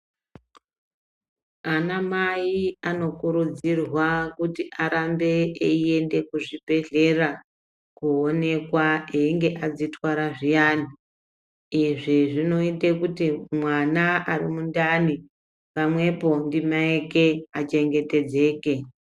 Anamai anokurudzirwa kuti aende kuzvibhedhlera koonekwa kana einge adzitwara zviyani. Izvi zvinoite kuti mwana ari mundani, pamwepo ndimai ake ,achengetedzeke.